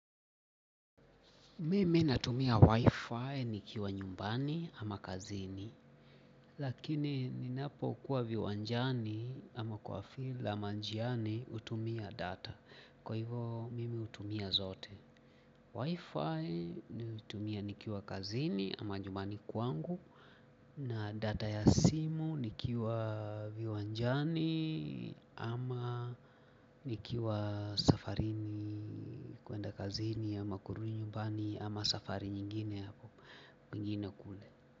Mimi natumia wifi nikiwa nyumbani ama kazini. Lakini ninapo kuwa viwanjani ama kwa fila ama njiani hutumia data. Kwa hivo mimi hutumia zote Wifi ni hutumia nikiwa kazini ama nyumbani kuangu. Na data ya simu nikiwa viwanjani ama nikiwa safarini kuenda kazini ama kuenda nyumbani ama safari nyingine mingine kule.